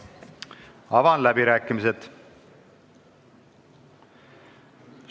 Avan läbirääkimised.